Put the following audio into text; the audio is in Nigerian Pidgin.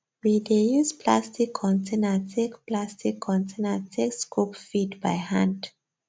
we dey use plastic container take plastic container take scoop feed by hand